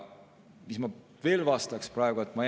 Mis ma veel vastaks praegu?